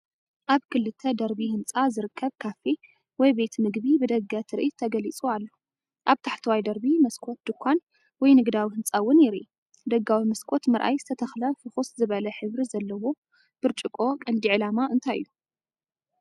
ኣብ ክልተ ደርቢ ህንጻ ዝርከብ ካፌ ወይ ቤት መግቢ ብደገ ትርኢት ተገሊጹ ኣሎ። ኣብ ታሕተዋይ ደርቢ መስኮት ድኳን ወይ ንግዳዊ ህንጻ እውን የርኢ። ደጋዊ መስኮት ምርኣይ ዝተተኽለ ፍኹስ ዝበለ ሕብሪ ዘለዎ ብርጭቆ ቀንዲ ዕላማ እንታይ እዩ?